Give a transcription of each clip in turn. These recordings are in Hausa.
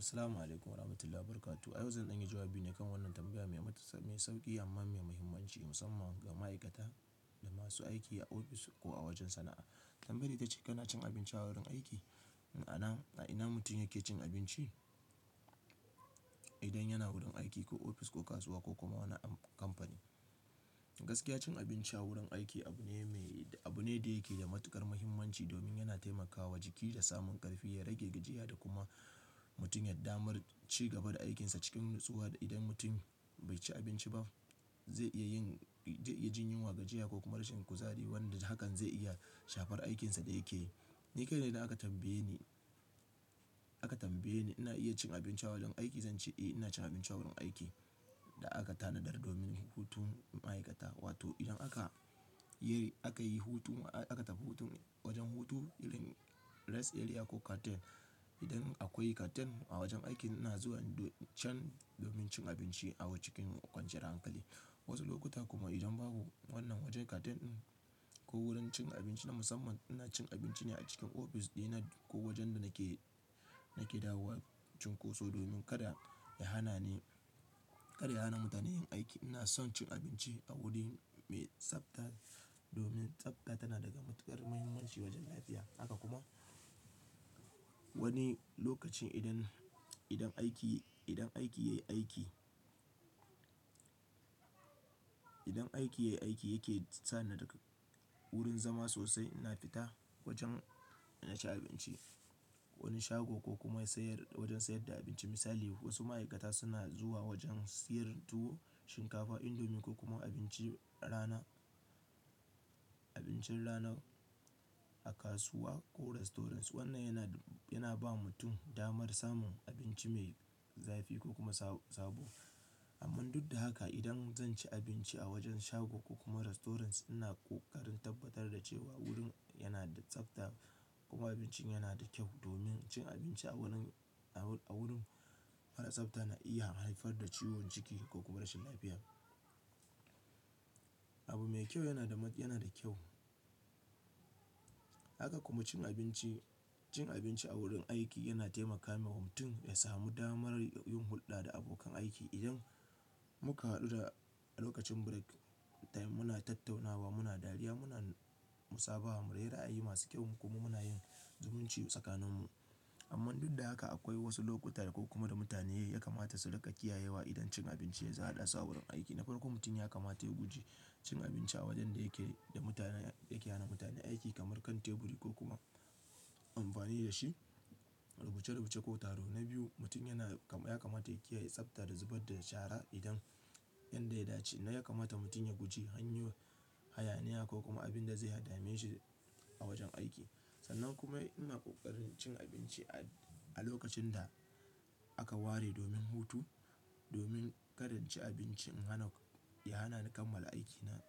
Assalamu'alaikum warahmatullahi wabarakatuh. A yau zan dan yi jawabi ne kan wannan tambaya mai mutu, mai sauƙi amma mai muhimmanci musamman ga ma'aikata da masu aiki a ofis ko wajen sana'a. Tambayar ita ce kana cin abinci a wurin aiki? Ina mutum yake cin abinci idan yana wurin aiki, ko ofis ko kasuwa ko kuma wani amf-- kamfani? Gaskiya cin abinci a wurin aiki abu ne mai, abu ne da yake da matuƙar muhimmanci domin yana taimakawa jiki da samun ƙarfi, ya rage gajiya da kuma mutum ya damar ci gaba da aikinsa cikin nutsuwa. Idan mutum bai ci abinci ba zai iya yin, zai iya jin yunwa, gajiya ko kuma rashin kuzari wanda hakan zai iya shafar aikinsa da yake yi. Ni kai na idan aka tambaye ni, aka ni ina iya cin abinci a wajen aiki, zan ce eh ina cin abinci a wurin aiki da aka tanadar domin hutun ma'aikata. Wato idan aka yi, aka yi hutu, aka tafi hutu wajen hutu, rest area ko canteen. Idan akwai canteen a wajen aiki ina zuwa can domin cin abinci a cikin kwanciyar hankali. Wasu lokuta kuma idan babu wannan wajen canteen din ko wurin cin abinci na musamman, ina cin abinci ne a cikin ofis ɗina ko wajen da nake, nake dawowa cunkoso domin kada ya hana ni, kar ya hana mutane yin aiki. Ina son cin abinci a wuri mai tsafta domin tsafta tana da matuƙar muhimmanci wajen lafiya. Haka kuma wani lokacin idan, idan aiki idan aiki ya yi aiki aiki yayi aiki yake sa ni daga wurin zama sosai, ina fita wajen ina ci abinci. Wani shago ko kuma sayar wajen sayar da abinci misali wasu ma'aikata suna zuwa wajen siyar tuwo, shinkafa, indomie ko kuma abincin rana rana a kasuwa ko restaurants. Wannan yana ba mutum damar samun abinci mai zafi ko kuma sabo. Amman duk da haka idan zan ci abinci a wajen shago ko kuma restaurants ina ƙoƙarin tabbatar da cewa wurin yana da tsafta kuma abincin yana da kyau. Domin cin abinci a wurin mara tsafta na iya haifar da ciwon jiki ko kuma rashin lafiya. Abu mai kyau yana da kyau. Haka kuma cin abinci, cin abinci a wurin aiki yana taimaka wa mutum ya samu damar yin hulɗa da abokan aiki. Idan muka haɗu da lokacin break time muna tattaunawa, muna dariya, muna musabaha, muna rera ai masu kyau kuma muna yin zumunci tsakaninmu. Amma duk da haka akwai wasu lokuta ko kuma da mutane ya kamata su riƙa kiyayewa idan cin abinci ya ha ɗa su a wurin aiki. Na farko mutum ya kamata ya guji cin abinci a wajen da yake yana da mutane aiki kamar kan teburi ko kuma amfani da shi rubuce-rubuce ko taro na biyu mutum ya kamata ya kiyaye tsabta da zubar da shara idan yanda ya dace. Na ya kamata mutum ya guji hanyar hayaniya ko kuma abin da zai dame shi a wajen aiki. Sannan kuma ina ƙoƙarin cin abinci a lokacin da aka ware domin hutu domin kada cin abinci ya hana ni kammala aikina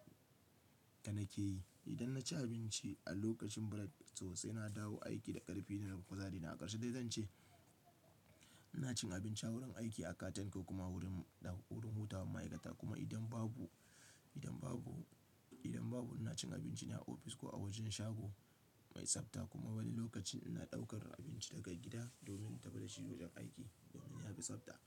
da nake yi. Idan na ci abinci a lokacin break sosai na dawo aiki da ƙarfi da kuma kuzari. Na ƙarshe dai zan ce ina cin abinci a wurin aiki, a canteen ko kuma g idan babuurin hutawar ma'aikata. Kuma idan babu ina cin abinci ne a ofis ko a wajen shago mai tsabta kuma wani lokacin ina ɗaukar abinci daga gida domin in tafi da shi wajen aiki domin ya fi tsabta.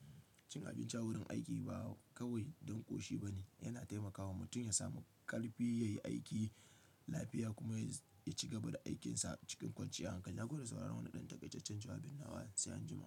Cin abinci a wurin aiki ba kawai don ƙoshi ba ne, yana taimakawa mutum ya samu ƙarfi, ya yi aiki lafiya kuma ya ci gaba da aikinsa cikin kwanciyar hankali. Na gode da sauraron wannan ɗan takaitaccen jawabin nawa. Sai an jima.